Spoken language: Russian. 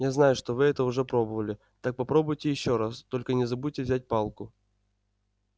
я знаю что вы это уже пробовали так попробуйте ещё раз только не забудьте взять палку